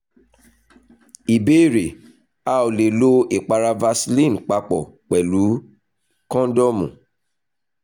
ìbéèrè: a ò lè lo ìpara vaseline papọ̀ pẹ̀lú kóńdọ́ọ̀mù